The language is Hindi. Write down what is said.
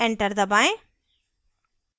enter दबाएं